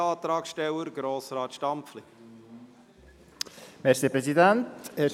Als zweiter Antragsteller hat Grossrat Stampfli das Wort.